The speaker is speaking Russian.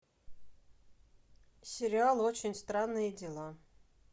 сериал очень странные дела